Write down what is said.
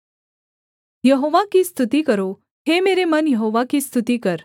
यहोवा की स्तुति करो हे मेरे मन यहोवा की स्तुति कर